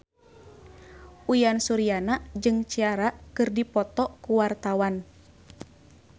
Uyan Suryana jeung Ciara keur dipoto ku wartawan